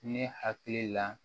Ne hakili la